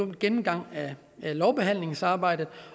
gennemgang af lovbehandlingsarbejdet